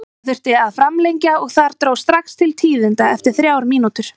Það þurfti að framlengja og þar dró strax til tíðinda eftir þrjár mínútur.